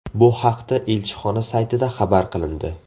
Bu haqda elchixona saytida xabar qilindi .